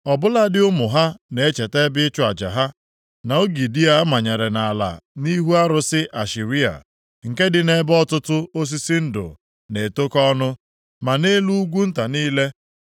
Ọ bụladị ụmụ ha na-echeta ebe ịchụ aja ha, na ogidi a manyere nʼala nʼihi arụsị Ashera, nke dị nʼebe ọtụtụ osisi ndụ na-etokọ ọnụ, ma nʼelu ugwu nta niile.